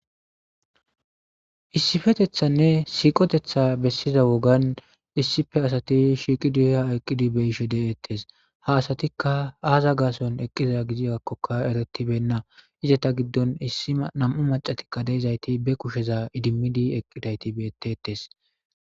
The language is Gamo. Issifetethanne siiqotetha bessiza wogan issife asati shiiqidiha eqqidi beishe deeettes ha asatikka aaza gason eqqiza gidiakkoka eretibenna izata giddon issima nam7u macatikka deizayti be kusheza idimmidi eqqidayti beetetes.